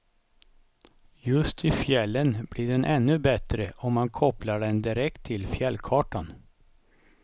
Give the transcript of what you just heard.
Just i fjällen blir den ännu bättre om man kopplar den direkt till fjällkartan.